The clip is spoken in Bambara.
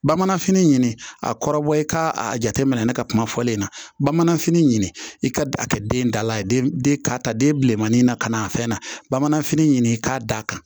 Bamanfini ɲini a kɔrɔbɔ i k'a a jateminɛ ne ka kuma fɔlen na bamananfini i ka a kɛ den dala ye den ka ta den bilenmanin na ka na a fɛn na bamananfini ɲini k'a d'a kan